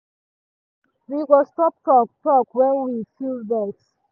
we go stop talk talk when we feel vex